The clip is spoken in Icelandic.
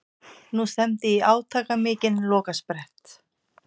Nú stefndi í átakamikinn lokasprett.